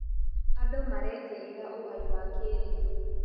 Andũ maretĩĩra ũgai wa kĩrĩu.